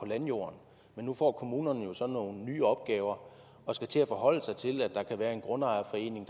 landjorden men nu får kommunerne jo så nogle nye opgaver og skal til at forholde sig til at der kan være en grundejerforening